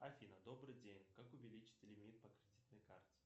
афина добрый день как увеличить лимит по кредитной карте